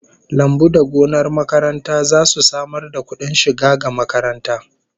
Lambu da gonar makaranta zasu samar da kudin shiga ga makaranta